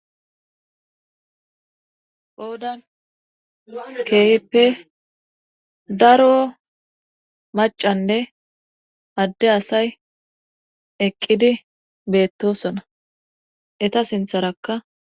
Qoodan keyipe daro macanne adde asay eqqidi beettosona eta sintharakka